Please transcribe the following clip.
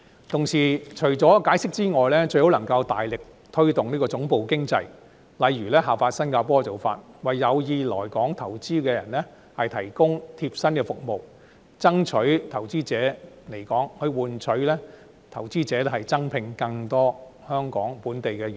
同時，除了解釋之外，最好能夠大力推動總部經濟，例如效法新加坡的做法，為有意來港投資的人士提供貼身服務，爭取投資者來港，以換取投資者增聘更多香港本地員工。